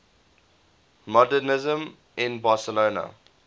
modernisme in barcelona